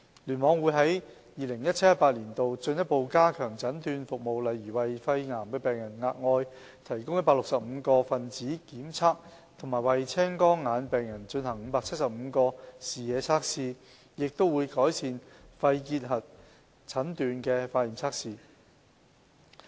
聯網會於 2017-2018 年度進一步加強診斷服務，例如為肺癌病人額外提供165個分子檢測和為青光眼病人進行575個視野測試，亦會改善肺結核診斷的化驗測試。